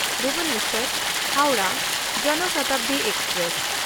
ᱵᱷᱩᱵᱚᱱᱮᱥᱥᱚᱨ–ᱦᱟᱣᱲᱟᱦ ᱡᱚᱱ ᱥᱚᱛᱟᱵᱫᱤ ᱮᱠᱥᱯᱨᱮᱥ